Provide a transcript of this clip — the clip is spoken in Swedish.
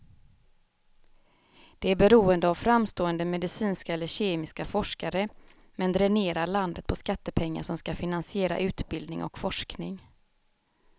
Det är beroende av framstående medicinska eller kemiska forskare, men dränerar landet på skattepengar som ska finansiera utbildning och forskning.